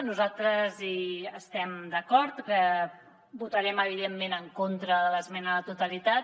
nosaltres hi estem d’acord i votarem evidentment en contra de l’esmena a la totalitat